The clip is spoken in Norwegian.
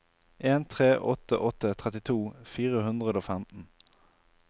en tre åtte åtte trettito fire hundre og femten